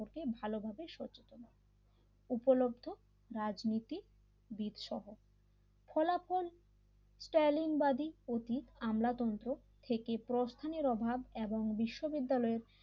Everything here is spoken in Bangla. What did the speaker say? ভালো হবে সচেতন উপলব্ধ রাজনীতিবিদ সহ ফলাফল টেলিং বাদী অতি আমলা তন্ত্র থেকে প্রস্থানের অভাব এবং বিশ্ব বিদ্যালয়